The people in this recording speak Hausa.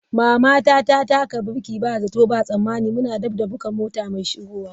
Mama ta taka birki ba zato ba tsammani muna daf da buga mota mai shigowa.